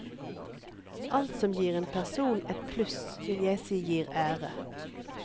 Alt som gir en person et pluss vil jeg si gir ære.